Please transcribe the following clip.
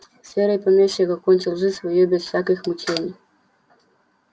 серый помещик окончил жизнь свою без всяких мучений